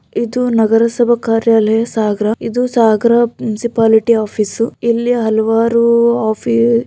ಇದು ನಗರಸಭಾ ಕಾರ್ಯಲಯ ಸಾಗರ ಇದು ಸಾಗರ ಮುನ್ಸಿಪಾಲಿಟಿ ಆಫೀಸ್ ಇಲ್ಲಿ ಹಲವಾರು ಆಫೀಸ್ --